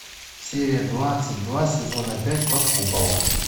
серия двадцать два сезона пять под куполом